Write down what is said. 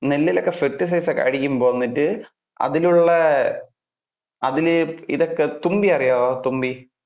നെല്ലിൽ ഒക്കെ pesticides ഒക്കെ അടിക്കുമ്പോൾ വന്നിട്ട് അതിൽ ഉള്ള. അതില് ഇതെക്കെ ഈ തുമ്പിയെ അറിയാവോ തുമ്പി,